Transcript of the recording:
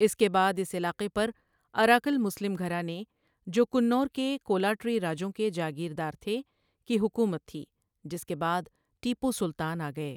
اس کے بعد اس علاقے پر اراکل مسلم گھرانے, جو کننور کے کولاٹری راجوں کے جاگیردار تھے، کی حکومت تھی، جس کے بعد ٹیپو سلطان آگےؑ۔